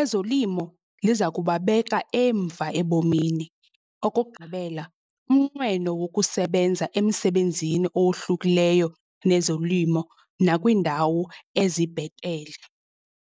ezolimo liza kubabeka emva ebomini. Okokugqibela, umnqweno wokusebenza emsebenzini owohlukileyo nezolimo nakwiindawo ezibhetele.